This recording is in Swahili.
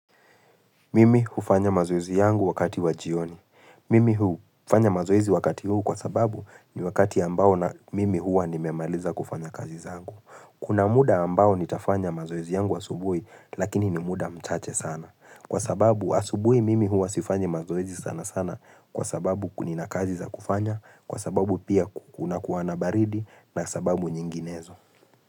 Mimi hufanya mazoezi yangu wakati wa jioni. Mimi hufanya mazoezi wakati huu kwa sababu ni wakati ambao na mimi hua nimemaliza kufanya kazi zangu. Kuna muda ambao nitafanya mazoeizi yangu asubuhi lakini ni muda mchache sana. Kwa sababu asubuhi mimi hua sifanya mazoezi sana sana kwa sababu nina kazi za kufanya, kwa sababu pia kuna kuwa na baridi na sababu nyinginezo.